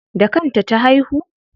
Da kan ta ta haihu?